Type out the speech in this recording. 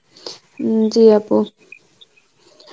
উম জী আপু